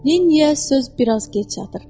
Lenniyə söz biraz gec çatır.